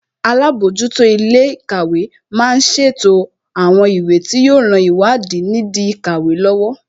Alábòójútó ilé ìkàwé má ń ṣètò àwọn ìwé tí yóò ran ìwádìí nìdí ìkàwé lọ́wọ́